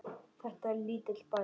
Þetta er lítill bær.